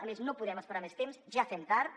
a més no podem esperar més temps ja fem tard